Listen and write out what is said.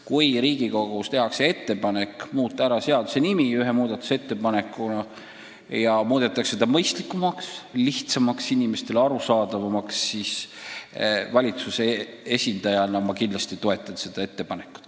Kui Riigikogus tehakse ettepanek seaduse nimi mõistlikumaks, lihtsamaks, inimestele arusaadavamaks muuta, siis valitsuse esindajana ma kindlasti toetan seda ettepanekut.